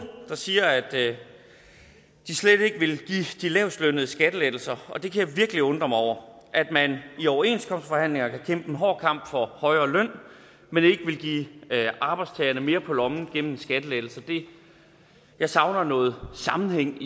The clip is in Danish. der siger at de slet ikke vil give de lavestlønnede skattelettelser og jeg kan virkelig undre mig over at man i overenskomstforhandlinger kan kæmpe en hård kamp for højere løn men ikke vil give arbejdstagerne mere på lommen gennem skattelettelser jeg savner noget sammenhæng